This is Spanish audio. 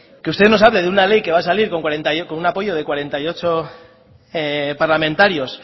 que usted nos hable de una ley que va a salir con un apoyo de cuarenta y ocho parlamentarios